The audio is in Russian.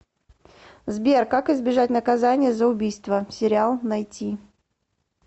сбер как избежать наказания за убийство сериал найти